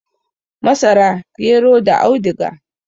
Masara, gero da audiga.